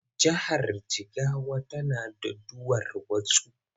Jihar Jigawa tana da duwarwatsu.